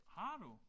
Har du?